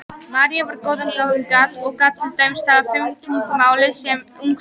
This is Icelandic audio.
Marie var góðum gáfum gædd og gat til dæmis talað fimm tungumál sem ung stúlka.